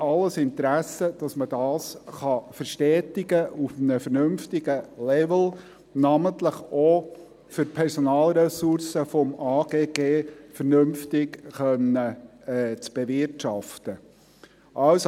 Wir haben alles Interesse daran, dass man das verstetigen kann, auf einem vernünftigen Level, namentlich auch, um die Personalressourcen des Amtes für Grundstücke und Gebäude (AGG) vernünftig bewirtschaften zu können.